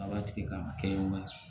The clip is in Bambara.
A b'a tigi ka kɛ waati ye